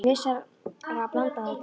Er ekki vissara að blanda þetta?